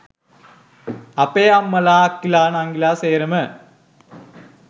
අපේ අම්මලා අක්කලා නංගිලා සේරම